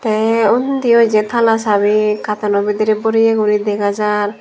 tey undiyo je tala chabi cartoono bidirey boreye guri dega jar.